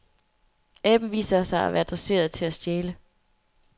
Aben viser sig at være dresseret til at stjæle.